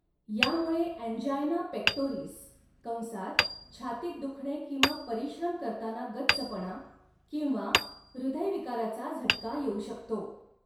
यामुळे angina pectoris कंसात छातीत दुखणे किंवा परिश्रम करताना गच्चपणा किंवा हृदयविकाराचा झटका येऊ शकतो.